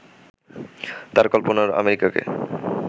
তার কল্পনার আমেরিকাকে